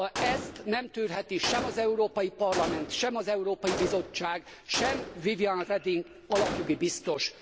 Ezt nem tűrheti sem az Európai Parlament, sem az Európai Bizottság, sem Viviane Reding alapjogi biztos.